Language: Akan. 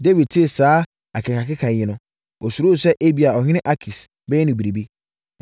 Dawid tee saa akekakeka yi no, ɔsuroo sɛ ebia ɔhene Akis bɛyɛ no biribi.